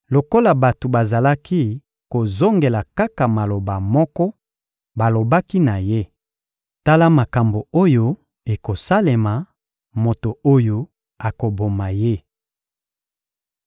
Lokola bato bazalaki kozongela kaka maloba moko, balobaki na ye: — Tala makambo oyo ekosalemela moto oyo akoboma ye.